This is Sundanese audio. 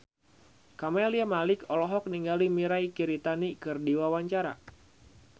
Camelia Malik olohok ningali Mirei Kiritani keur diwawancara